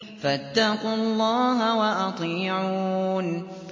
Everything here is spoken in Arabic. فَاتَّقُوا اللَّهَ وَأَطِيعُونِ